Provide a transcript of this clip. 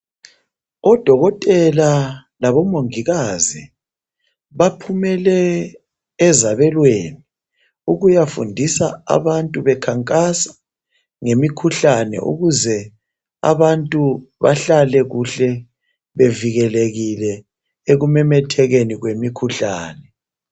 Odokotela labomungikazi, baphumele ezabelweni ukuyafundisa abantu benkankasa ngemikhuhlane ukuze abantu behlale kuhle bavikelekile ekumemethekeni kwemikuhlane.